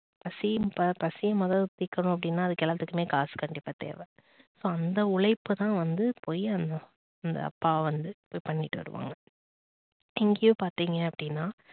பசி பசி மொத தீக்கணும் அப்படின்னா அது எல்லாத்துக்குமே காசு கண்டிப்பா தேவை சோ அந்த உழைப்புதான் வந்து போய் அந்த அந்த அப்பா வந்து இது பண்ணிட்டு வருவாங்க இங்கேயும் பார்த்தீங்க அப்படின்னா